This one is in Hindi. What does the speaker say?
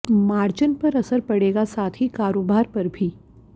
मार्जिन पर असर पड़ेगा साथ ही कारोबार पर भी